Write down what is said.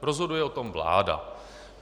Rozhoduje o tom vláda.